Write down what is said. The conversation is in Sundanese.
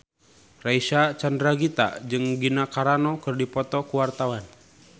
Reysa Chandragitta jeung Gina Carano keur dipoto ku wartawan